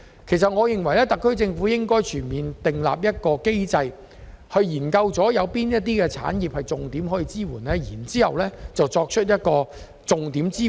因此，我認為特區政府應訂立全面機制，研究哪些產業值得重點支援，然後提供支援。